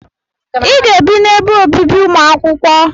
I ga-ebe n'ebe obibi ụmụ akwụkwọ!